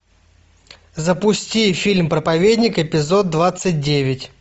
запусти фильм проповедник эпизод двадцать девять